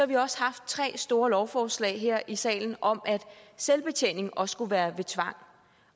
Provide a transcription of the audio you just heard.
vi også haft tre store lovforslag her i salen om at selvbetjening også skulle være ved tvang